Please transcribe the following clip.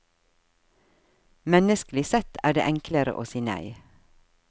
Menneskelig sett er det enklere å si nei.